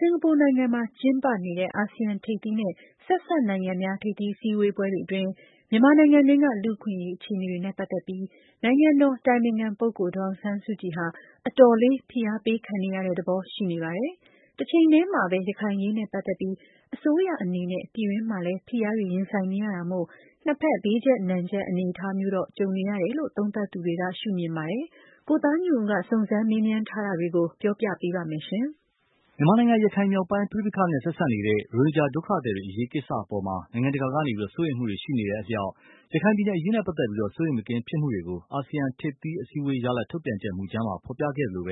င်ကာပူနိုင်ငံမှာ ကျင်းပနေတဲ့ အာဆီယံထိပ်သီးနဲ့ ဆက်စပ်နိုင်ငံများ ထိပ်သီး အစည်းအဝေးတွေ အတွင်း မြန်မာနိုင်ငံတွင်းက လူ့အခွင့်အရေး အခြေအနေတွေနဲ့ ပတ်သက်ပြီး နိုင်ငံတော်အတိုင်ပင်ခံပုဂ္ဂိုလ် ဒေါ်အောင်ဆန်းစုကြည် ဟာ အတော်လေး ဖိအားပေးခံနေရသဘော ရှိနေပါတယ်။ တချိန်တည်းမှာပဲ ရခိုင်အရေးနဲ့ ပတ်သက်ပြီး အစိုးရအနေနဲ့ ပြည်တွင်းမှာလည်း ဖိအားတွေ ရင်ဆိုင်နေရတာမို့၊ နှစ်ဖက် ဘေးကြပ်နံကြပ်အနေအထားမျိုးတော့ ကြုံနေတယ်လို့ သုံးသပ်သူတွေက ရှုမြင်ပါတယ်။ ကိုသားညွန့်ဦးက စုံစမ်းမေးမြန်းထားတာတွေကို ပြောပြပါလိမ့်မယ်။ မြန်မာနိုင်ငံ ရခိုင်မြောက်ပိုင်းပဋိပက္ခနဲ့ ဆက်စပ်နေတဲ့ ရိုဟင်ဂျာဒုက္ခသည်တွေ အရေးကိစ္စအပေါ်မှာ နိုင်ငံတကာက စိုးရိမ်မှုတွေ ရှိနေတဲ့အလျှောက်၊ ရခိုင်ပြည်နယ် အရေးနဲ့ပတ်သက်လို့ စိုးရိမ်မကင်းဖြစ်မှုကို အာဆီယံထိပ်သီးအစည်းအဝေးရလဒ် ထုတ်ပြန်ချက်မူကြမ်းမှာ ဖော်ပြခဲ့သလို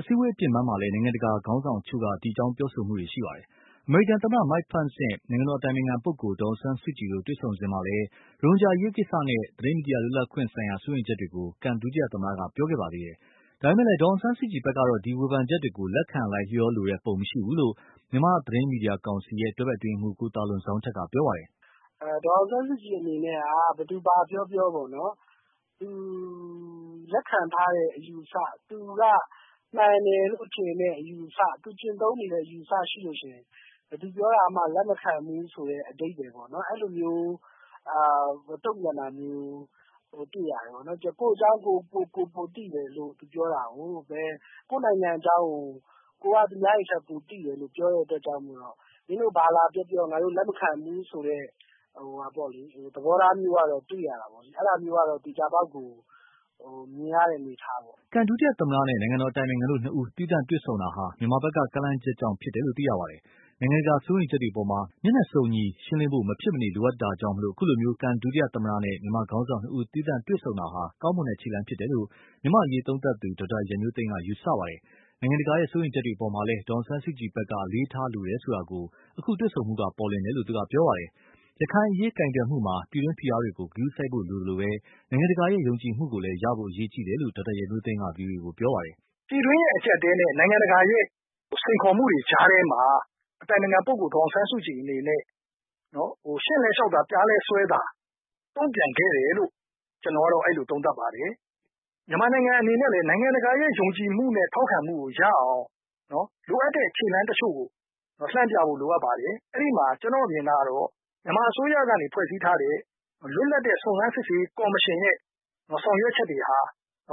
အစည်းအဝေးအပြင်ပန်းမှာလည်း နိုင်ငံတကာခေါင်းဆောင်အချို့က ဒီအကြောင်း ပြောဆိုနေတာတွေ ရှိပါတယ်။ အမေရိကန် သမ္မတ Mike Pence နဲ့ နိုင်ငံတော်အတိုင်ပင်ခံ ပုဂ္ဂိုလ် ဒေါ်အောင်ဆန်းစုကြည် တို့ တွေ့ဆုံစဉ်မှာလည်း ရိုဟင်ဂျာ အရေးကိစ္စနဲ့ သတင်းမီဒီယာလွတ်လပ်ခွင့်ဆိုင်ရာ စိုးရိမ်ချက်တွေကို ကန် ဒုသမ္မတက ပြောခဲ့ ပါသေးတယ်။ ဒါပေမယ့်လည်း ဒေါ်အောင်ဆန်းစုကြည်ဖက်ကတော့ ဒီ ဝေဖန်ချက်တွေ ကို လက်ခံ လိုက်လျောလိုတဲ့ ပုံမရှိဘူးလို့ မြန်မာသတင်းမီဒီယာကောင်စီ တွဲဖက်အတွင်းရေးမှူး ကိုသာလွန်ဇောင်းထက် ပြောပါတယ်။ "ဒေါ်အောင်ဆန်းစုကြည် အနေနဲ့က ဘယ်သူဘာပြောပြော သူလက်ခံထားတဲ့ အယူအဆ မှန်တယ်လို့ ထင်တဲ့အယူအဆ ၊ သူကျင့်သုံးနေတဲ့ အယူအဆရှိရင် ဘယ်သူပြောတာကိုမှ လက်မခံဘူးဆိုတဲ့ အဓိပါ္ပယ်ပေါ့နော် အဲလိုမျိုး တုံ့ပြန်တာမျိုးတွေ့ရတယ်။ ကိုယ့်အကြောင်းကိုယ်ပိုသိတယ်ဆိုပြီးတော့ ပြောတာကို ၊ ကိုယ့်နိုင်ငံအကြောင်းကို ကိုယ်ပိုသိတယ်လို့ပြောတဲ့အတွက်ကြောင့် မင်းတို့ဘာပြောပြောလက်မခံဘူးဆိုတာတွေတွေ့ရတယ်။ အဲဒါမျိုးကတော့ သေချာပေါက်မြင်နေရတဲ့အနေအထားပေါ့နော်။" ကန် ဒုသမ္မတနဲ့ နိုင်ငံတော်အတိုင်ပင်ခံတို့နှစ်ဦး သီးသန့်တွေ့ဆုံတာဟာ မြန်မာဖက်က ကမ်းလှမ်းချက်ကြောင့်ဖြစ်တယ်လို့ သိရပါတယ်။ နိုင်ငံတကာ စိုးရိမ်ချက်တွေအပေါ်မှာ မျက်နှာစုံညီရှင်းလင်းဖို့ မဖြစ်မနေလိုအပ်တာကြောင့် အခုလို ကန်ဒု သမ္မတနဲ့ မြန်မာခေါင်းဆောင်နှစ်ဦး သီးသန့်တွေ့ဆုံမှုဟာ ကောင်းမွန်တဲ့ခြေလှမ်းဖြစ်တယ်လို့ မြန်မာ့အရေးသုံးသပ်သူ ဒေါက်တာရန်မျိုးသိန်းက ယူဆပါတယ်။ နိုင်ငံတကာရဲ့ စိုးရိမ်ချက်တွေအပေါ်မှာလည်း ဒေါ်အောင်ဆန်းစုကြည်ဖက်က အလေးထားတယ်ဆိုတာကို အခုလို တွေ့ဆုံမှုတွေက ပေါ်လွင်တယ်လို့သူက ပြောပါတယ်။ ရခိုင်အရေးကိုင်တွယ်မှုမှာ ပြည်တွင်းဖိအားတွေကို ဂရုစိုက်ဖို့လိုသလို နိုင်ငံတကာရဲ့ ယုံကြည်မှုကိုလည်း ရဖို့ အရေးကြီးတယ်လို့ ဒေါက်တာ ရန်မျိုးသိန်းက ဗွီအိုအေကို ပြောပါတယ်။ " ပြည်တွင်းအကျပ်အတည်းနဲ့ နိုင်ငံတကာစိန်ခေါ်မှုတွေကြားထဲမှာ နိုင်ငံတော်အတိုင်ပင်ခံပုဂ္ဂိုလ် ဒေါ်အောင်ဆန်းစုကြည် အနေနဲ့ ရှည့်လည်း 'လျှောက်' သာ..ပျားလည်း 'စွဲ' သာ သဘောနဲ့ တုံ့ပြန်ခဲ့တယ်လို့ ကျနေ်ာကတော့ အဲလိုသုံးသပ်ပါတယ်။ မြန်မာနိုင်ငံအနေနဲ့လည်း ယုံကြည်မှုနဲ့ ထောက်ခံမှုကို ရအောင် လိုအပ်တဲ့ခြေလှမ်းတချို့ကို လှမ်းပြဖို့ လိုအပ်ပါတယ်။ အဲဒီမှာ ကျနော့်အမြင်ကတော့ မြန်မာအစိုးရကနေဖွဲ့စည်းထားတဲ့ လွတ်လပ်တဲ့ စုံစမ်းရေးကော်မရှင်ကနေ ဆောင်ရွက်ချက်တွေဟာ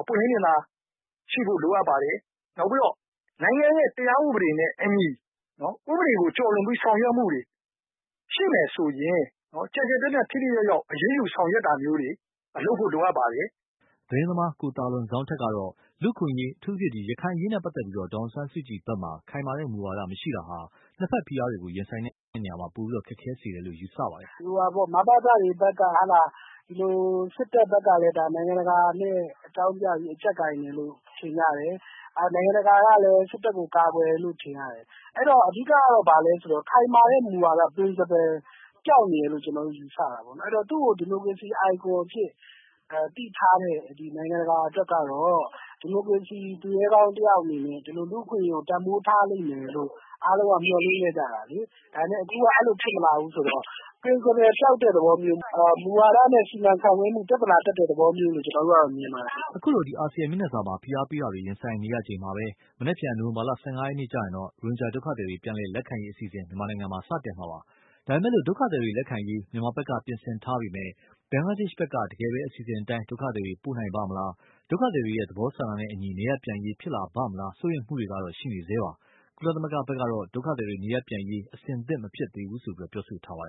ပွင်းလင်းမြင်သာမှုရှိဖို့ လိုပါတယ်။ နောက်ပြီးတော့ နိုင်ငံတရားဥပဒေနဲ့အညီ ဥပဒေကို ကျော်လွန်ပြီး ဆောင်ရွက်မှုတွေရှိမယ်ဆိုရင် ကျယ်ကျယ်ပြန့်ပြန့်ထိထိရောက်ရောက် အရေးယူဆောင်ရွက်တာမျိုးတွေ လုပ်ဖို့လိုပါတယ်။" သတင်းသမား ကိုသာလွန်ဇောင်းထက်ကတော့ လူ့အခွင့်အရေး အထူးသဖြင့် ရခိုင်အရေးနဲ့ပတ်သက်လို့ ဒေါ်အောင်ဆန်းစုကြည်ဖက်မှာ ခိုင်မာတဲ့ မူဝါဒမရှိတာဟာ နှစ်ဖက် ဖိအားတွေကို ရင်ဆိုင်ရာမှာ ပိုပြီးတော့ ခက်ခဲစေတယ်လို့ ယူဆပါတယ်။ " မဘသတွေဘက်က၊ စစ်တပ်ဘက်ကလည်း နိုင်ငံတကာနဲ့ အကြောင်းပြပြီး အကြပ်ကိုင်တယ်လို့ ထင်ကြတယ်။ နိုင်ငံတကာကလည်း စစ်တပ်ဘက်ကို ကာကွယ်တယ်လို့ ထင်ရတယ်။ အဲဒီတော့ ခိုင်မာတဲ့ မူဝါဒ Principle ပျောက်နေတယ်လို့ ယူဆပါတယ်။ သူ့ကို ဒီမိုကရေစီ icon အဖြစ်သိထားတဲ့နိုင်ငံတကာအတွက်ကတော့ ဒီမိုကရေစီ သူရဲကောင်းတယောက်အနေနဲ့ ဒီလိုလူ့အခွင့်အရေးကို တန်ဖိုးထားလိမ့်မယ်လို့ အားလုံးက မျှော်လင့်ထားကြတာလေ။ ဒါပေမယ့် အခုအဲလိုဖြစ်မလာဘူးဆိုတော့ Principle ပျောက်တဲ့သဘောမျိုး၊ မူဝါဒနဲ့ စီမံခန့်ခွဲမှု ပြဿနာ တက်တဲ့သဘောမျိုးလို့မြင်ပါတယ်။" အခုလို အာဆီယံမျက်နှာစာမှာ ဖိအားပေးတာတွေ ရင်ဆိုင်ရချိန်မှာပဲ မနက်ဖြန် နိုဝင်ဘာလ ၁၅ရက်နေ့မှာတော့ ရိုဟင်ဂျာဒုက္ခသည်တွေ ပြန်လည်လက်ခံရေးအစီအစဉ် စတင်မှာပါ။ ဒါပေမယ့် ဒုက္ခသည်တွေ လက်ခံရေး မြန်မာဖက်က ပြင်ဆင်ထားပေမယ့်၊ ဘင်္ဂလားဒေ့ရ်ှဖက်က တကယ်ပဲ အစီအစဉ်အတိုင်း ဒုက္ခသည်တွေ ပို့နိုင်ပါ့မလား ဒုက္ခသည်တွေရဲ့ သဘောဆန္ဒနဲ့အညီ နေရပ်ပြန်ရေး ဖြစ်လာပါ့မလား စိုးရိမ်မှုတွေကတော့ ရှိနေဆဲပါ။ ကုလသမဂ္ဂဖက်ကတော့ ဒုက္ခသည်တွေ နေရပ်ပြန်ရေး အဆင်သင့်မဖြစ်သေးဘူးလို့ ပြောဆိုထားပါတယ်